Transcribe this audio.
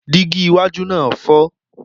Dígí iwájú náà fọ́.